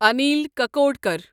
Anil Kakodkar